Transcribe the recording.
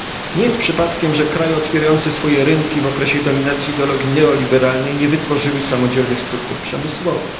Nie jest przypadkiem, że kraje otwierające swoje rynki w okresie dominacji ideologii neoliberalnej nie wytworzyły samodzielnych struktur przemysłowych.